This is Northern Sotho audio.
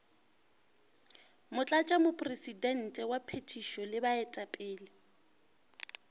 motlatšamopresidente wa phethišo le baetapele